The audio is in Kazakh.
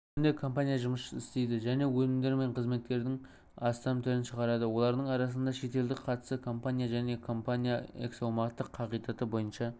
бүгінде компания жұмыс істейді және өнімдер мен қызметтердің астам түрін шығарады олардың арасында шетелдік қатысы компания және компания эксаумақтық қағидаты бойынша